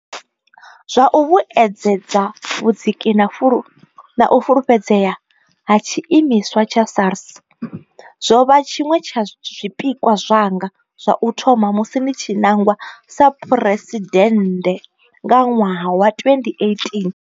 Zwa u vhuedzedza vhudziki na u fulufhedzea ha tshiimiswa tsha SARS zwo vha tshiṅwe tsha zwipikwa zwanga zwa u tou thoma musi ndi tshi nangwa sa phresiden nde nga ṅwaha wa 2018.